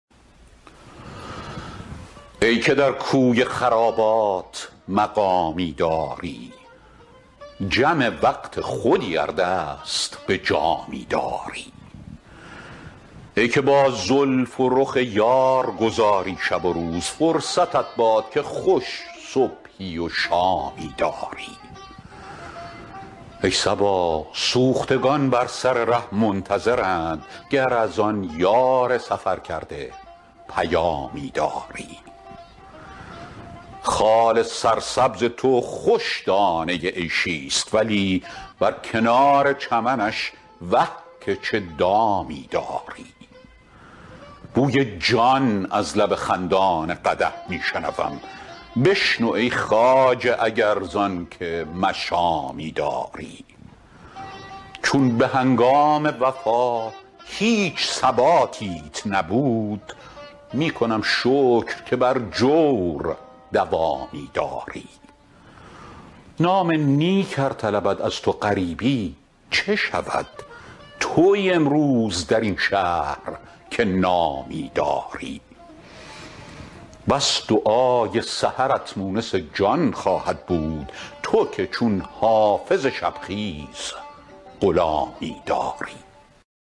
ای که در کوی خرابات مقامی داری جم وقت خودی ار دست به جامی داری ای که با زلف و رخ یار گذاری شب و روز فرصتت باد که خوش صبحی و شامی داری ای صبا سوختگان بر سر ره منتظرند گر از آن یار سفرکرده پیامی داری خال سرسبز تو خوش دانه عیشی ست ولی بر کنار چمنش وه که چه دامی داری بوی جان از لب خندان قدح می شنوم بشنو ای خواجه اگر زان که مشامی داری چون به هنگام وفا هیچ ثباتیت نبود می کنم شکر که بر جور دوامی داری نام نیک ار طلبد از تو غریبی چه شود تویی امروز در این شهر که نامی داری بس دعای سحرت مونس جان خواهد بود تو که چون حافظ شب خیز غلامی داری